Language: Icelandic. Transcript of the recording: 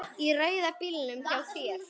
Í rauða bílnum hjá þér.